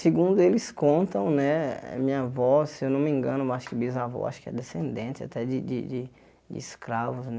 Segundo eles contam né, minha avó, se eu não me engano, mais que bisavó, acho que é descendente até de de de de escravos né.